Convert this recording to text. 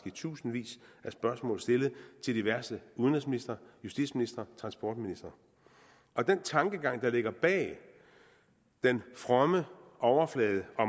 i tusindvis af spørgsmål stillet til diverse udenrigsministre justitsministre og transportministre den tankegang der ligger bag den fromme overflade og